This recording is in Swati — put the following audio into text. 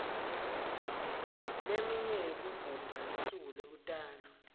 leminye yekugubha lusuku lekutalwa